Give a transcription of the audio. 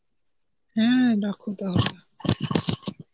হম রাখো তাহলে.